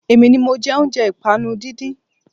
Èmi ni mọ jẹ́ oúnjẹ ìpànu díndín